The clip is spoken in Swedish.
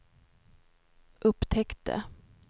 upptäckte